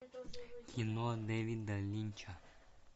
кино дэвида линча